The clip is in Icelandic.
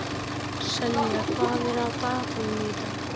Selja, hvað er á dagatalinu í dag?